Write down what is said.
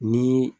Ni